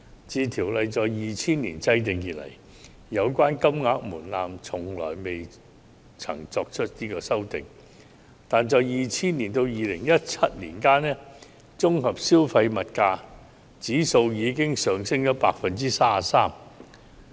自《選舉條例》在2000年制定以來，有關金額門檻從來未曾作出修訂，但在2000年至2017年期間，綜合消費物價指數已經上升 33%。